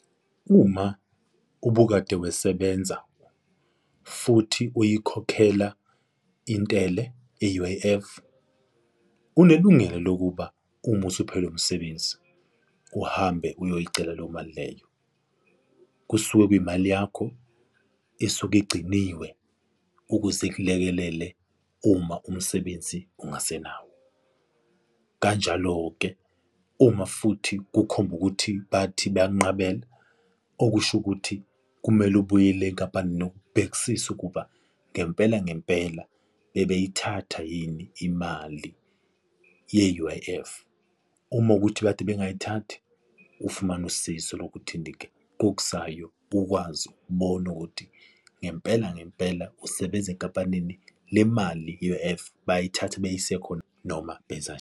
Uma ubukade wesebenza futhi uyikhokhela intele e-U_I_F unelungelo lokuba uma usuphelelwa umsebenzi, uhambe uyoyicela leyo mali leyo. Kusuke kuyimali yakho esuke igciniwe ukuze ikulekelele uma umsebenzi ungasenayo. Kanjalo-ke uma futhi kukhomba ukuthi bayakunqabela, okusho ukuthi kumele ubuyele enkampanini nokubhekisisa ukuba ngempela ngempela bebeyithatha yini imali ye-U_I_F, uma kuwukuthi bekade bengayithathi ufumane usizo lokuthi ngokuzayo ukwazi ukubona ukuthi ngempela ngempela usebenza enkampanini le mali i-U_I_F bayayithatha beyise khona noma benzani.